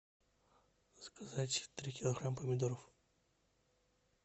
заказать три килограмма помидоров